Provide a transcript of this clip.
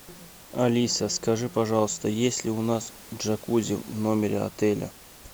алиса скажи пожалуйста есть ли у нас джакузи в номере отеля